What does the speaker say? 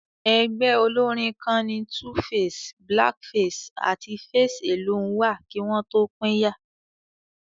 Ẹgbẹ́ olórín kan ni 2face, Black Face àti Face Alone wà kí wọn tó pínyà